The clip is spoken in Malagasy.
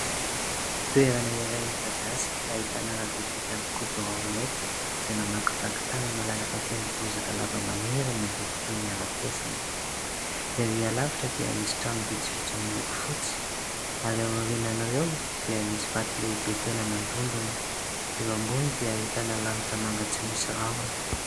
Toerana iray midadasika ahitàna arabe vita amin'ny godorao mainty izay mamakivaky tany malalaka, feno bozaka lava maniry miloko toy ny arafesina. Erÿ alavitra dia misy trano vitsivitsy miloko fotsy, ary aorianan'ireo dia misy vato lehibe tena mandondona, eo amboniny dia ahitàna lanitra manga tsy misy rahona.